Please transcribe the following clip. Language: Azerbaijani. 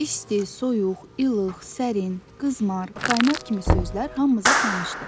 İsti, soyuq, ilıq, sərin, qızmar, qaynar kimi sözlər hamımıza tanışdır.